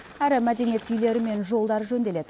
әрі мәдениет үйлері мен жолдары жөнделеді